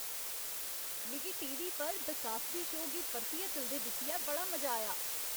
मिगी T. V. पर 'the Cosby show गी परतियै चलदे दिक्खियै बड़ा मजा आया।